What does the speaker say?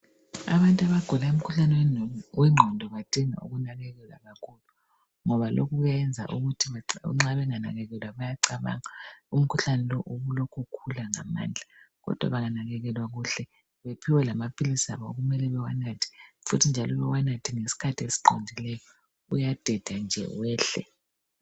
Abantu abugula umkhuhlane wengqondo abadinga kunakekelwa kakhulu ngoba nxa benganakekelwa bayacabanga umkhuhlane lo ubulokhu ukhula ngamandla kodwa benganakekelwa kuhle bephiwe lamaphilisi abo okumele bewanathe futhi njalo bewanathe ngesikhathi esiqondileyo uyadeda nje wehle.